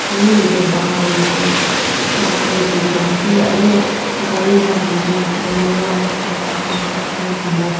aru yati bahar ti hoishele plaster kurina ase aru kari kan yati bolero jarta pangsta kara korina ase.